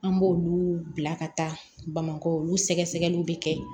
An b'olu bila ka taa bamakɔ olu sɛgɛsɛgɛliw bɛ kɛ